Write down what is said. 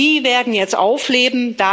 die werden jetzt aufleben.